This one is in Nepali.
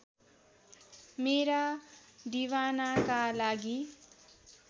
मेरा दिवानाका लागि